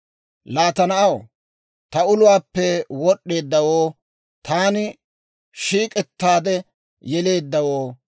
«Laa ta na'aw, ta uluwaappe wod'd'eeddawoo, taani shiik'ettaade yeleeddawoo,